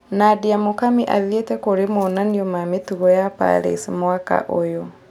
Nadia Mukami athĩete kũri monanio ma mĩtungo ya Paris mwaka ũyũ